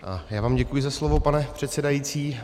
Já vám děkuji za slovo, pane předsedající.